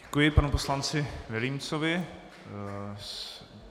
Děkuji panu poslanci Vilímcovi.